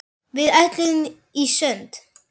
Við ætluðum í sund.